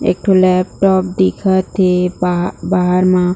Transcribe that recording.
एक ठो लैपटॉप दिखत हे बाहर म--